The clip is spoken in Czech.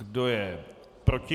Kdo je proti?